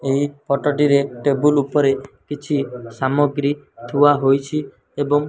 ଏହି ଫଟ ଟିରେ ଟେବୁଲ୍ ଉପରେ କିଛି ସାମଗ୍ରୀ ଥୁଆ ହୋଇଛି ଏବଂ --